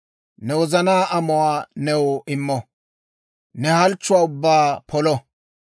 Ne wozanaa amuwaa new immo; ne halchchuwaa ubbaa polo.